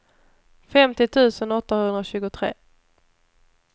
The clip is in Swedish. femtio tusen åttahundratjugotre